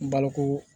N balo ko